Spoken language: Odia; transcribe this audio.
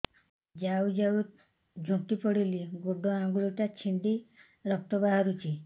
ଯାଉ ଯାଉ ଝୁଣ୍ଟି ପଡ଼ିଲି ଗୋଡ଼ ଆଂଗୁଳିଟା ଛିଣ୍ଡି ରକ୍ତ ବାହାରୁଚି